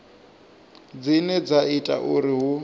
dzine dza ita uri hu